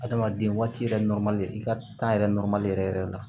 Adamaden waati yɛrɛ i ka yɛrɛ yɛrɛ yɛrɛ la